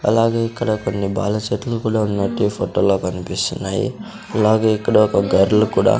అలాగే ఇక్కడ కొన్ని బాల సెట్లు కూడా ఉన్నట్టు ఈ ఫొటో లో కన్పిస్తున్నాయి అలాగే ఇక్కడ ఒక గర్ల్ కూడా --